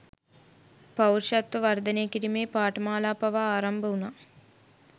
පෞරුෂත්ව වර්ධනය කිරීමේ පාඨමාලා පවා ආරම්භ වුණා